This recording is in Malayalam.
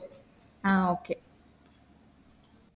ആ Okay